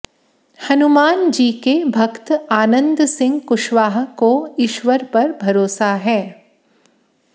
हनुमान जी के भक्त आनंद सिंह कुशवाह को ईश्वर पर भरोसा है